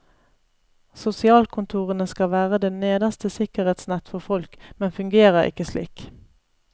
Sosialkontorene skal være det nederste sikkerhetsnett for folk, men fungerer ikke slik.